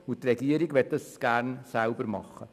Die Regierung will dies jedoch selber tun.